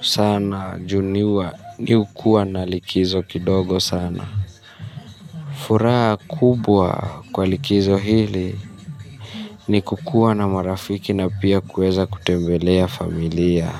sana juu niwa ni hukuwa na likizo kidogo sana. Furaha kubwa kwa likizo hili ni kukuwa na marafiki na pia kuweza kutembelea familia.